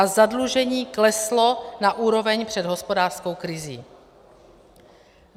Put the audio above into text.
A zadlužení kleslo na úroveň před hospodářskou krizí.